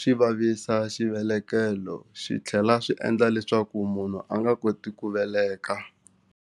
xi vavisa xivelekelo xi tlhela swi endla leswaku munhu a nga koti ku veleka.